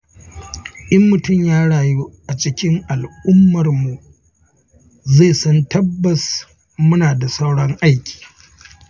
In mutum ya rayu a cikin al'ummarmu zai san tabbas muna da sauran aiki.